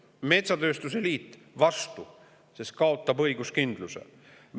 Metsatööstuse liit oli vastu, sest see kaotab õiguskindluse.